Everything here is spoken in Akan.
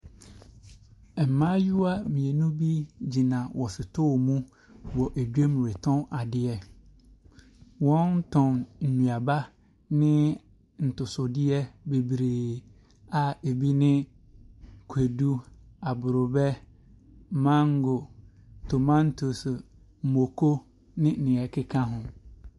Mmmayewa mmienu bi gyina wɔn sotɔɔ mu wɔ edwom retɔn adeɛ. Wɔn tɔn nnuaba ne ntosodeɛ bebree a ebi ne kwedu, abrɔbɛ, mango, tomantoes, mako ne nea ɛkeka ho.